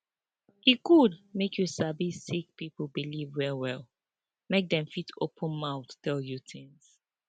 e good make you sabi sick pipo believe well well make dem fit open mouth tell you tins